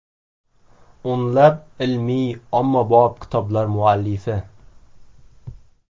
O‘nlab ilmiy-ommabop kitoblar muallifi.